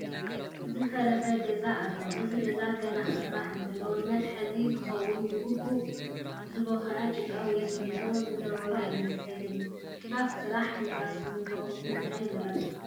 ዝፈረሰ ገዛ ኣሎ፡፡ እዚ ገዛ ገና ክስራሕ እንተሎ ንመተሓሓዚ ዝኸውን ብግቡእ ዝቦኽዐ ጭቃ ወይ ስሚንቶ ዝነበሮ ኣይመስልን፡፡ ኣብ ስራሕ ህንፃ ስሚንቶ ንምንታይ ይምረፅ?